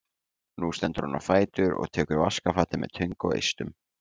Nú stendur hann á fætur og tekur vaskafatið með töng og eistum.